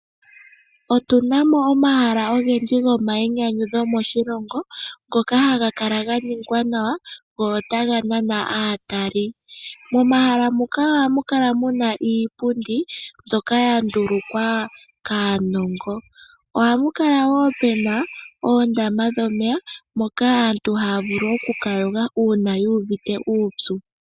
Otunamo omahala ogendji gomayinyanyudho moshilongo ngoka haga kala ga ningwa nawa go ota ga nana aatali. Momahala muka ohamu kala muna iipundi mbyoka ya ndulukwa kaanongo ohapu kala pena oondama dhomeya moka aantu haya vulu okuka yoga uuna yuuvite uupyu.